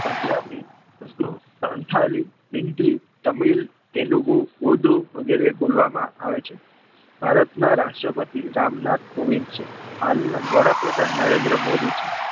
પંજાબી ઉર્દુ તેલુગુ તમિલ હિન્દી વગેરે બોલવામાં આવે છે ભારતના રાષ્ટ્રપતિ રામ નાથ ગોવિંદ છે હાલના વડાપ્રધાન નરેન્દ્રમોદી છે